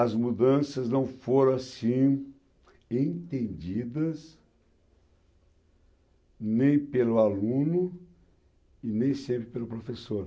As mudanças não foram assim entendidas nem pelo aluno e nem sempre pelo professor.